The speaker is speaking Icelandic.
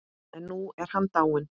En nú er hann dáinn.